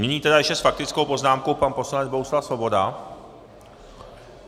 Nyní tedy ještě s faktickou poznámkou pan poslanec Bohuslav Svoboda.